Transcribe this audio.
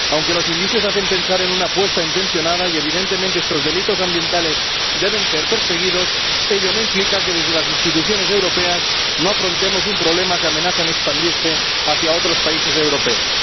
Aunque los indicios hacen pensar en una puesta intencionada ―y evidentemente estos delitos ambientales deben ser perseguidos―, ello no implica que desde las instituciones europeas no afrontemos un problema que amenaza con expandirse a otros países europeos.